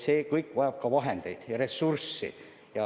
See kõik vajab ka vahendeid, ressursse.